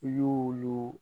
I y'o yo